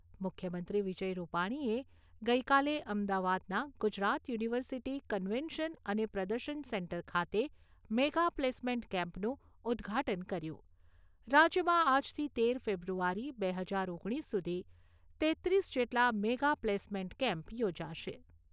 મુખ્યમંત્રી વિજય રૂપાણીએ ગઈકાલે અમદાવાદના ગુજરાત યુનિવર્સિટી કન્વેન્શન અને પ્રદર્શન સેન્ટર ખાતે મેગા પ્લેસમેન્ટ કેમ્પનું ઉદ્દઘાટન કર્યું. રાજ્યમાં આજથી તેર ફેબ્રુઆરી બે હજાર ઓગણીસ સુધી તેત્રીસ જેટલા મેગા પ્લેસમેન્ટ કેમ્પ યોજાશે.